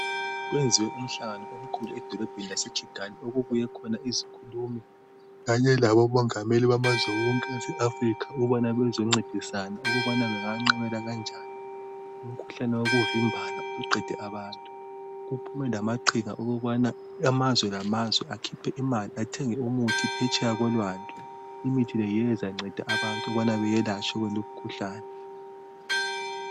Okwenziwe umhlangano omkhulu edolobheni lase khigali okunye izikhulumi kanye labo mongameli bamazwe wonke wase Africa ukubana bezoncedisana ukuba bengaqabela kanjani umkhuhlane wokuvimbana osuqende abantu kuphumelamaqhinga wokuthi amazwe ngamazwe akhiphe imali athenge umuthi phetsheya kolwandle imithi le yiyo ezanceda abantu ukubana be yelatshwe kulomkhuhlane